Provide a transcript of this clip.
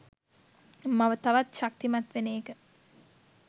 මම තවත් ශක්තිමත් වෙන එක.